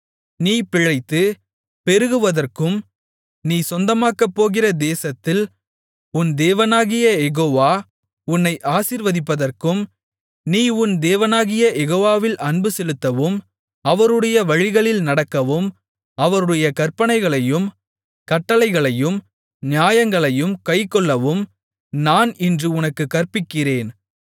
நீ பிழைத்து பெருகுவதற்கும் நீ சொந்தமாக்கப்போகிற தேசத்தில் உன் தேவனாகிய யெகோவா உன்னை ஆசீர்வதிப்பதற்கும் நீ உன் தேவனாகிய யெகோவாவில் அன்புசெலுத்தவும் அவருடைய வழிகளில் நடக்கவும் அவருடைய கற்பனைகளையும் கட்டளைகளையும் நியாயங்களையும் கைக்கொள்ளவும் நான் இன்று உனக்குக் கற்பிக்கிறேன்